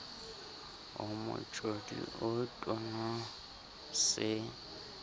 o motjodi o tono se